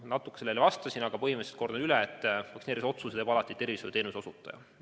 Natuke ma juba vastasin, põhimõtteliselt kordan üle, et vaktsineerimise otsuse teeb alati tervishoiuteenuse osutaja.